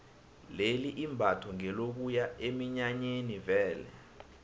leli imbatho ngelokuya eminyanyeni vele